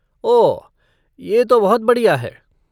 ओह, ये तो बहुत बढ़िया है।